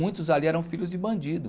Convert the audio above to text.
Muitos ali eram filhos de bandido.